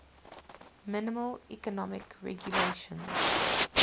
minimal economic regulations